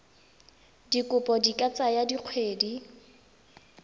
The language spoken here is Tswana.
dikopo di ka tsaya dikgwedi